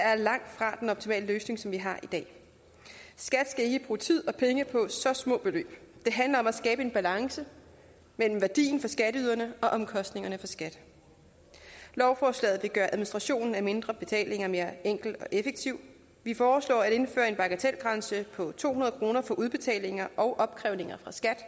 er langtfra den optimale løsning som vi har i dag skat skal ikke bruge tid og penge på så små beløb det handler om at skabe en balance mellem værdien for skatteyderne og omkostningerne for skat lovforslaget vil gøre administrationen af mindre betalinger mere enkel og effektiv vi foreslår at indføre en bagatelgrænse på to hundrede kroner for udbetalinger og opkrævninger fra skat